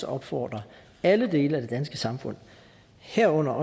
opfordre alle dele af det danske samfund herunder